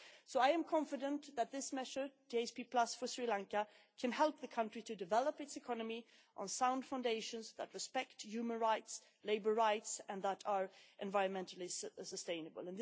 So I am confident that this measure, GSP for Sri Lanka, can help the country to develop its economy on sound foundations that respect human rights and labour rights, and that are environmentally sustainable.